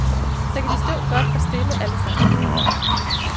Så kan de stå godt, og stille, alle sammen.